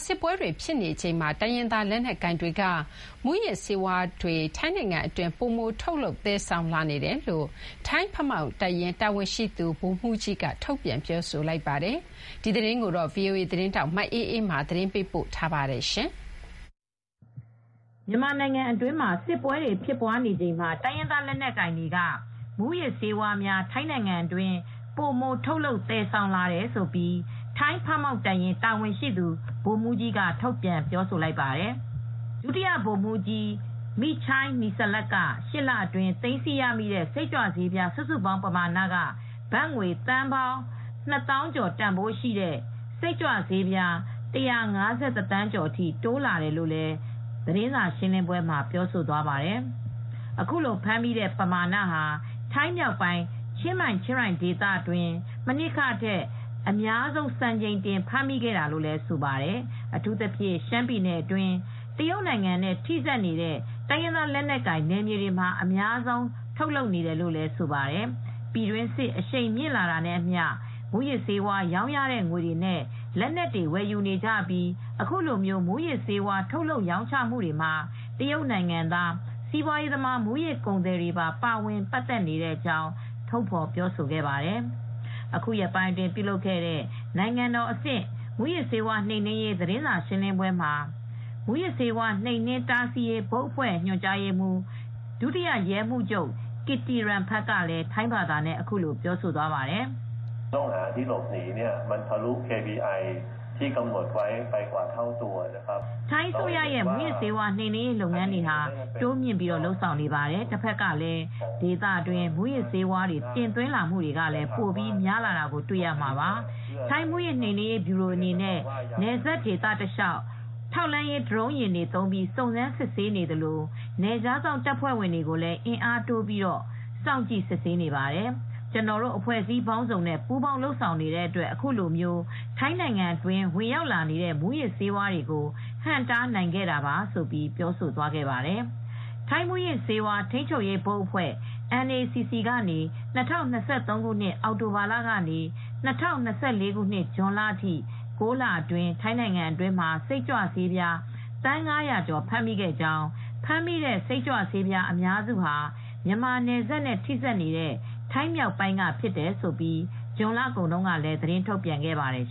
စစ်ပွဲတွေဖြစ်နေချိန်မှာ တိုင်းရင်းသားလက်နက်ကိုင်တွေက မူးယစ်ဆေးဝါးတွေပိုထုတ်လုပ်လာနေပြီး ထိုင်းနိုင်ငံအတွင်း သယ်ဆောင်လာနေတယ်လို့ ထိုင်းဖမောင့်တပ်ရင်း တာဝန်ရှိသူ ဗိုလ်မှူးကြီးတဦးက ပြောလိုက်ပါတယ်။ ဒီသတင်းကို ဗွီအိုအေသတင်းထောက်မအေးအေးမာက သတင်းပေးပို့ထားပါတယ်။ မြန်မာနိုင်ငံအတွင်း စစ်ပွဲတွေဖြစ်နေချိန်မှာ အိမ်နီးချင်းဖြစ်တဲ့ထိုင်းနိုင်ငံထဲမှာ ဖမ်းဆီးရမိတဲ့ မူးယစ်စိတ်ကြွဆေးပမာဏဟာ ပိုပြီးတိုးလာနေကြောင်း ထိုင်းဖမောင့် တပ်ရင်း တာဝန်ရှိသူ ဒုဗိုလ်မှူးကြီး Col. Meechai Nilsat က ပြောပါတယ်။ (၈) လအတွင်း သိမ်းဆည်းရမိတဲ့ စုစုပေါင်းပမာဏဟာ ဘတ်ငွေ သန်းပေါင်းနှစ်သောင်းကျော် (၂၀,၀၀၀ ကျော်) တန်ဖိုးရှိတဲ့ မူးယစ်စိတ်ကြွေဆေးပြား ၁၅၁ သန်းကျော်အထိ တိုးလာခဲ့တယ်လို့ သတင်းစာရှင်းလင်းပွဲမှာ သူက ပြောသွားခဲ့တာဖြစ်ပါတယ်။ အခုလို ဖမ်းမိတဲ့ပမာဏဟာ ထိုင်းနိုင်ငံမြောက်ပိုင်း ချင်းမိုင်၊ ချင်းရိုင်ဒေသ အတွင်း မနှစ်ကထက် အများဆုံးစံချိန်တင်ဖမ်းမိခဲ့တာလို့လည်း ဆိုပါတယ်။ 'အထူးသဖြင့် ရှမ်းပြည်နယ်အတွင်းက တရုတ်နိုင်ငံနဲ့ထိစပ်နေတဲ့ တိုင်းရင်းသားလက်နက်ကိုင်နယ်မြေတွေမှာ အများဆုံးထုတ်လုပ်နေပါတယ်။ ပြည်တွင်းစစ် အရှိန်မြင့်လာတာနဲ့အမျှ မူးယစ်ဆေးဝါးရောင်းရတဲ့ငွေတွေနဲ့ လက်နက်တွေ ဝယ်ယူနေကြပြီး အခုလို မူးယစ်ဆေးဝါး ထုတ်လပ်ရောင်းချမှုတွေမှာ တရုတ်နိုင်ငံသား စီးပွားရေးသမား မူးယစ်ကုန်သည်တွေပါ ပါဝင်ပတ်သက်နေကြောင်း' ထုတ်ဖေါ်ပြောဆိုသွားပါတယ်။ အခုရက်ပိုင်းအတွင်း ပြုလုပ်ခဲ့တဲ့ နိုင်ငံတော်အဆင့် မူးယစ်နှိမ်နင်းရေး သတင်းစာရှင်းလင်းပွဲမှာ မူးယစ်ဆေးဝါး တားဆီးနှိမ်နင်းရေးဘုတ်အဖွဲ့ ညွှန်ကြားရေးမှူး ဒုတိယ ရဲမှူးချုပ် ကစ်တီရတ်ဖန်က ထိုင်းဘာသာနဲ့ ခုလိုပြောဆိုသွားပါတယ်။ "ထိုင်းအစိုးရက မူးယစ်နှိမ်နင်းရေးလုပ်ငန်းတွေကို တိုးမြှင့်နေပါတယ်။ ဒါပေမဲ့ တဘက်ကလည်း ဒေသအတွင်း မူးယစ်ဆေးတွေ တင်သွင်းလာမှုဟာလည်း ပိုများလာတာ တွေ့ရမှာပါ။ ထိုင်းမူးယစ်နှိမ်နင်းရေးဗျူရိုအနေနဲ့ နယ်စပ်ဒေသတလျှောက် ထောက်လှမ်းရေး ဒရုန်းယာဉ်တွေသုံးပြီး စုံစမ်းစစ်ဆေးနေသလို နယ်ခြားစောင့်တပ်ဖွဲ့ဝင်အင်အားတွေတိုးပြီးတော့လည်း စောင့်ကြည့်စစ်ဆေးနေပါတယ်။ အဖွဲ့အစည်းပေါင်းစုံနဲ့ ပူးပေါင်းလုပ်ဆောင်နေတဲ့အတွက် အခုလို ထိုင်းနိုင်ငံတွင်းဝင်လာတဲ့ မူးယစ်ဆေးဝါးတွေကို ဟန့်တားနိုင်ခဲ့တာပါ" လို့ပြောသွားပါတယ်။ ထိုင်းမူးယစ်ဆေးဝါး ထိန်းချုပ်ရေးဘုတ်အဖွဲ့ (NACC) ကနေ ၂၀၂၃ ခုနှစ် အောက်တိုဘာလကနေ ၂၀၂၄ ခုနှစ် ဇွန်လအထိ ၉ လအတွင်း ထိုင်းနိုင်ငံမှာ စိတ်ကြွဆေးပြားသန်း ၅၀၀ ကျော်ဖမ်းမိကြောင်း၊ ဖမ်းမိတဲ့စိတ်ကြွဆေးအများစုဟာ မြန်မာနယ်စပ်နဲ့ထိစပ်နေတဲ့ ထိုင်းမြောက်ပိုင်းမှာဖြစ်တယ်လို့လည်း ဇွန်လကုန်က သတင်းထုတ်ပြန်ခဲ့ပါတယ်